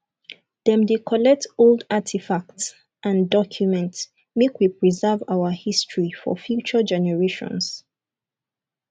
dem dey collect old artifacts and documents make we preserve our history for future generations